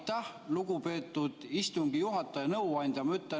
Aitäh, lugupeetud istungi juhataja nõuandja!